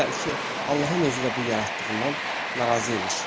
Deyirdilər ki, Allahın özü də bu yaratdığından narazı imiş.